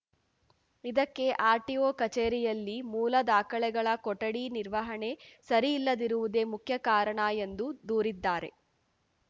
ಇದಕ್ಕೆ ಆರ್‌ಟಿಒ ಕಚೇರಿಯಲ್ಲಿ ಮೂಲ ದಾಖಲೆಗಳ ಕೊಠಡಿ ನಿರ್ವಹಣೆ ಸರಿಯಿಲ್ಲದಿರುವುದೆ ಮುಖ್ಯ ಕಾರಣ ಎಂದು ದೂರಿದ್ದಾರೆ